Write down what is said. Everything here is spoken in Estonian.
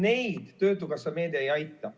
Neid töötukassa meede ei aita.